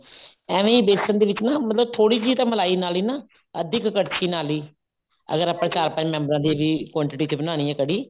ਏਵੇਂ ਹੀ ਬੇਸਨ ਦੇ ਵਿੱਚ ਨਾ ਥੋੜੀ ਜੀ ਮਲਾਈ ਦੇ ਨਾਲ ਹੀ ਅੱਧੀ ਕੁ ਕੜਛੀ ਨਾਲ ਹੀ ਅਗਰ ਆਪਾਂ ਚਾਰ ਪੰਜ ਮੈਂਬਰਾਂ ਦੀ ਵੀ quantity ਚ ਬਣਾਉਣੀ ਹੈ ਕੜ੍ਹੀ